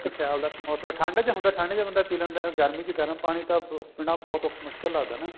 ਇੱਕ ਸਿਆਲ ਮੋਸਮ ਠੰਡ ਦਾ ਹੁੰਦਾ ਠੰਡ ਚ ਬੰਦਾ ਪੀ ਲੈਂਦਾ ਗਰਮੀ ਚ ਗਰਮ ਪਾਣੀ ਤਾਂ ਪੀਣਾ ਬਹੁਤ ਮੁਸ਼ਕਲ ਲੱਗਦਾ ਨਾ